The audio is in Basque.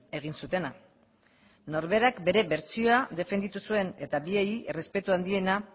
egin zutena norberak bere bertsioa defenditu zuen eta biei errespetu handiena